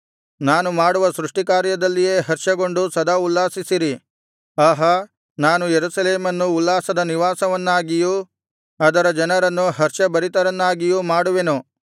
ನಾನು ಮಾಡುವ ಸೃಷ್ಟಿಕಾರ್ಯದಲ್ಲಿಯೇ ಹರ್ಷಗೊಂಡು ಸದಾ ಉಲ್ಲಾಸಿಸಿರಿ ಆಹಾ ನಾನು ಯೆರೂಸಲೇಮನ್ನು ಉಲ್ಲಾಸದ ನಿವಾಸವನ್ನಾಗಿಯೂ ಅದರ ಜನರನ್ನು ಹರ್ಷಭರಿತರನ್ನಾಗಿಯೂ ಮಾಡುವೆನು